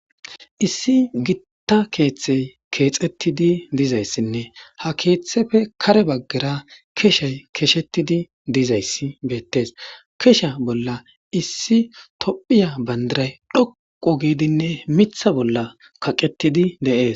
issi gitta keeththey keexettidi dizayssinne ha keeththefe kare baggera keshay keshetidi dizayssi beettes kesha bolla issi tophiya bandiray dhoqo giidinne mitha bolla kaqettidi deees